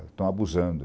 Estão abusando.